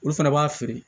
Olu fana b'a feere